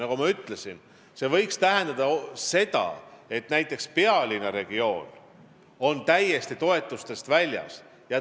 Nagu ma ütlesin, see võib tähendada seda, et näiteks pealinnaregioon jääb toetustest täiesti ilma.